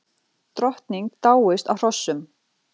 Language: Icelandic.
Drottning dáist að hrossum